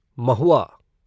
महुआ